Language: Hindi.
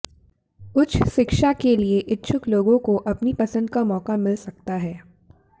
उच्च शिक्षा के लिए इच्छुक लोगों को अपनी पसंद का मौका मिल सकता है